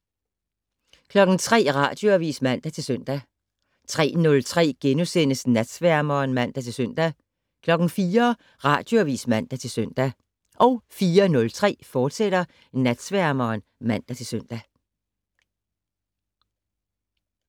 03:00: Radioavis (man-søn) 03:03: Natsværmeren *(man-søn) 04:00: Radioavis (man-søn) 04:03: Natsværmeren, fortsat (man-søn)